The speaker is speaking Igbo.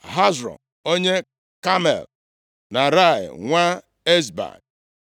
Hezro onye Kamel, Naarai nwa Ezbai,